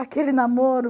Aquele namoro.